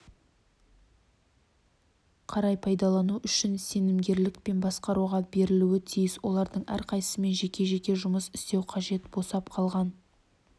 қарай пайдалану үшін сенімгерлікпен басқаруға берілуі тиіс олардың әрқайсымен жеке-жеке жұмыс істеу қажет босап қалған